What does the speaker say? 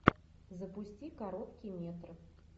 запусти короткий метр